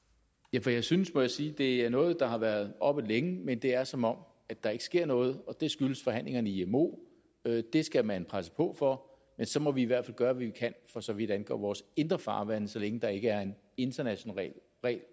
ja for jeg synes må jeg sige at det er noget der har været oppe længe men det er som om der ikke sker noget det skyldes forhandlingerne i imo og det det skal man presse på for men så må vi i hvert fald gøre hvad vi kan for så vidt angår vores indre farvande så længe der ikke er en international regel